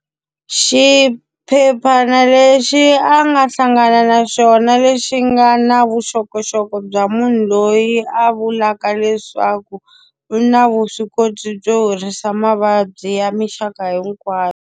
Xiphephana lexi a nga hlangana na xona lexi nga na vuxokoxoko bya munhu loyi a vulaka leswaku, u na vuswikoti byo horisa mavabyi ya minxaka hinkwayo.